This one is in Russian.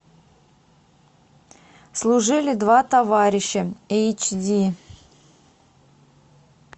служили два товарища эйч ди